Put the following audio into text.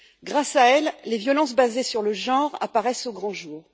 Grâce à elles, les violences basées sur le genre apparaissent au grand jour.